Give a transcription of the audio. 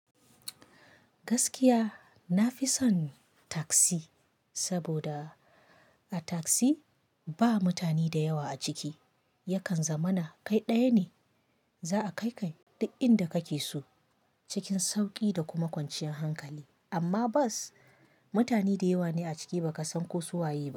Gaskiya nafi son taksi, saboda. A taksi ba mutane da yawa a ciki, yakan zamana kai ɗaya ne, za'a kai ka duk inda kake so cikin sauƙi da kuma kwanciyan hankali. Amma bos mutane da yawa ne a ciki baka san ko su waye ba.